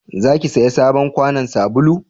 za ki saya sabon kwanon sabulu?